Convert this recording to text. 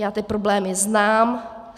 Já ty problémy znám.